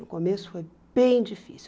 No começo foi bem difícil.